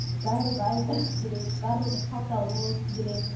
бәрі бай болғысы келеді барлығы қалталы болғысы келеді